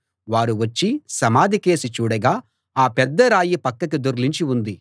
వారు వచ్చి సమాధికేసి చూడగా ఆ పెద్ద రాయి పక్కకి దొర్లించి ఉంది